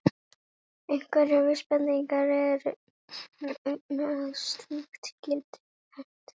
Einhverjar vísbendingar eru um að slíkt geti hent.